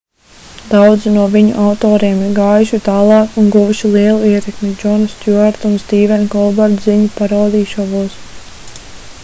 daudzi no viņu autoriem ir gājuši tālāk un guvuši lielu ietekmi džona stjuarta un stīvena kolberta ziņu parodiju šovos